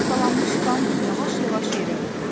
Laxtalanmış qan yavaş-yavaş yerə hopurdu.